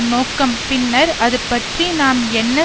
நோக்கம் பின்னர் அது பற்றி நாம் என்ன